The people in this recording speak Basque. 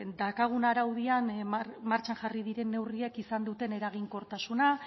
martxan jarri diren neurriek izan duten eraginkortasuna